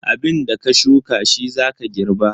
Abinda ka shuka shi za ka girba.